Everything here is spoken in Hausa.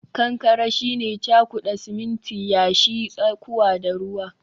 kankare shine cakuda siminti, yashi, tsakuwa da ruwa